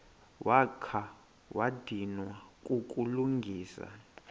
wakha wadinwa kukulungisa